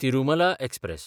Tirumala express